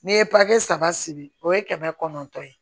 N'i ye paraki saba sigi o ye kɛmɛ kɔnɔntɔn ye